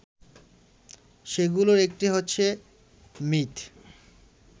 সেগুলোর একটি হচ্ছে মিথ